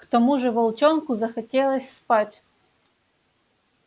к тому же волчонку захотелось спать